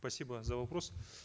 спасибо за вопрос